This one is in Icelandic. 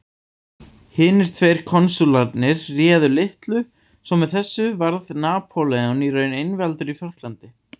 Hinir tveir konsúlarnir réðu litlu svo með þessu varð Napóleon í raun einvaldur í Frakklandi.